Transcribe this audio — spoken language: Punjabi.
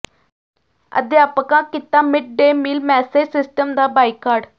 ਅਧਿਆਪਕਾਂ ਕੀਤਾ mid day meal message system ਦਾ ਬਾਈਕਾਟ